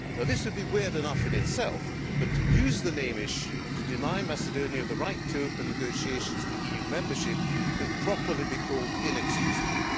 This would be weird enough in itself, but to use the name issue to deny Macedonia the right to open negotiations for EU membership can properly be called inexcusable.